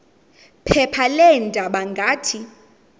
phepha leendaba ngathi